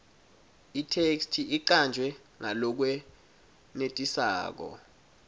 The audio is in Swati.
itheksthi icanjwe ngalokwenetisako